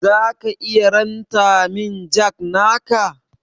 Zaka iya ranta min jack naka?